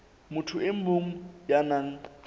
motho e mong ya nang